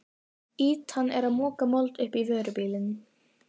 Ýtan er að moka mold upp á vörubíl.